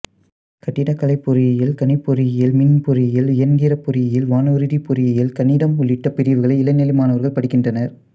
கட்டிடக்கலைப் பொறியியல் கணிப்பொறியியல் மின்பொறியியல் இயந்திரப் பொறியியல் வானூர்திப் பொறியியல் கணிதம் உள்ளிட்ட பிரிவுகளை இளநிலை மாணவர்கள் படிக்கின்றனர்